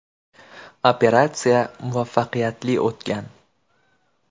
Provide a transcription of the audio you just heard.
Operatsiya muvaffaqiyatli o‘tgan.